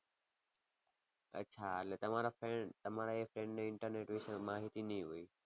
અચ્છા એટલે તમારા friend તમારા એ friend ને internet વિશે માહિતી નહીં હોય.